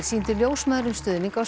sýndi ljósmæðrum stuðning á